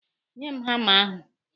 Nye m hama ahụ!